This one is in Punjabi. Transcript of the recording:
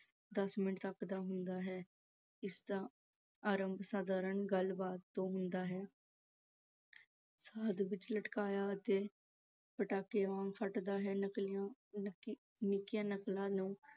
ਦਸ ਮਿੰਟ ਤੱਕ ਦਾ ਹੁੰਦਾ ਹੈ। ਇਸ ਦਾ ਅਰੰਭ ਸਧਾਰਨ ਗੱਲ-ਬਾਤ ਤੋਂ ਹੁੰਦਾ ਹੈ ਮੱਧ ਵਿੱਚ ਲਟਕਾਅ ਤੇ ਅੰਤ ਪਟਾਕੇ ਵਾਂਗ ਫਟਦਾ ਹੈ। ਨਿੱਕੀਆਂ ਨਕਲਾਂ ਨੂੰ